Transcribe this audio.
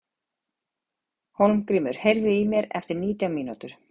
Hólmgrímur, heyrðu í mér eftir nítján mínútur.